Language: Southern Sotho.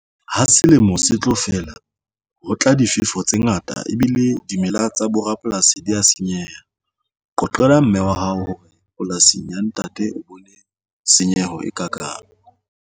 Ha selemo se tlo fela ho tla difefo tse ngata ebile dimela tsa borapolasi di ya senyeha qoqela mme wa hao hore polasing ya ntate o bone senyeho e ka kang.